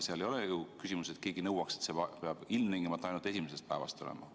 Seal ei ole ju küsimus selles, nagu keegi nõuaks, et see peab ilmtingimata ainult esimesest päevast olema.